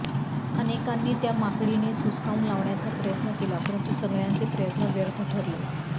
अनेकांनी त्या माकडिणीस हुसकावून लावण्याचा प्रयत्न केला परंतु सगळ्यांचे प्रयत्न व्यर्थ ठरले